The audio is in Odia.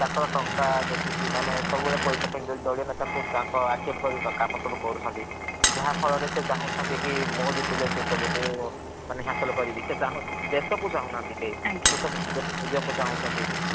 ତାଙ୍କର ଟଙ୍କା ଦେଖିକି ମାନେ ସବୁ ବେଳେ ପଇସା ପାଇଁ ଦଳୀଅ ନେତାଙ୍କୁ ଆକ୍ଷେପ କରି କାମ ସବୁ କରୁଛନ୍ତି। ଯାହା ଫଳ ରେ ସେ ଚାଁହୁଛନ୍ତି କି ମୁଁ ଜିତିଲେ ସେସବୁକୁ ମାନେ ହାସଲ୍ କରିବି। ସେ ଚାହୁଁ ଦେଶକୁ ଚାହୁଁନାହାନ୍ତି କେହି। ଆଜ୍ଞା। ସେଶବୁ ନିଜକୁ ଚନ୍ହୁଛନ୍ତି।